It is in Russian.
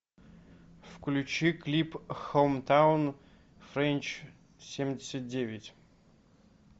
включи клип хоумтаун френч семьдесят девять